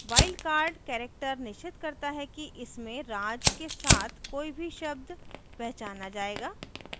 wild cards character निश्चित करता है कि इसमें raj के साथ कोई भी शब्द पहचाना जाएगा